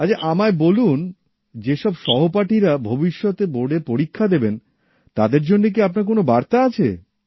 আচ্ছা আমায় বলুন যে সব সহপাঠীরা ভবিষ্যতে বোর্ডের পরীক্ষা দেবেন তাদের জন্য কী আপনার কোন বার্তা আছে